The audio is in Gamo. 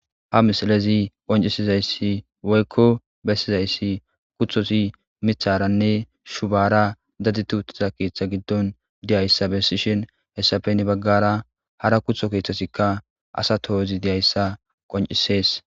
Ha misilezi qoncisizayssi woyikko bessizayssi kuthosi mitharanne shubara dadituutza keeththa giddon diyayssa bessishin hessafenne baggara hara kutho keeththasikka asa tohozi diyayssa qoncisees